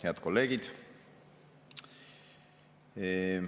Head kolleegid!